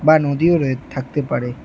বা নদীও রয়ে থাকতে পারে।